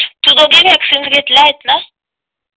तूदोघी vaccine घेतला आहे का